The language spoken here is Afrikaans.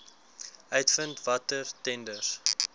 uitvind watter tenders